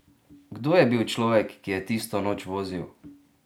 Kdo je bil človek, ki je tisto noč vozil?